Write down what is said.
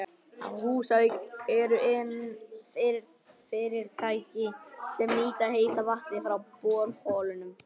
Á Húsavík eru iðnfyrirtæki sem nýta heita vatnið frá borholunum.